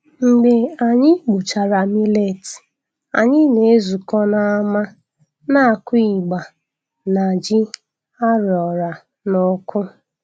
Mgbe anyị gbuchara millet, anyị na-ezukọ n'ámá na-akụ igba na ji a roara n'ọkụ.